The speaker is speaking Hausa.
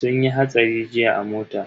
Sun yi hatsari jiya a mota.